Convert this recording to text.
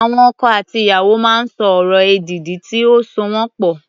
Àwọn ọkọ àti ìyàwó máa ń sọ ọ̀rọ̀ èdìdì tí ó so wọ́n pọ̀.